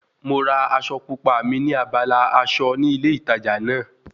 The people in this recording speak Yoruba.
Mo ra aṣọ pupa mi ní abala aṣọ ní ilé ìtajà náà